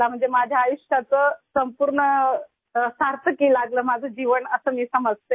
मतलब मेरा जीवन सम्पूर्ण रूप से सार्थक हुआ ऐसा मैं मानती हूँ